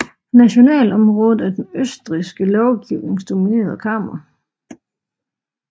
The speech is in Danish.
Nationalrådet er den østrigske lovgivnings dominerende kammer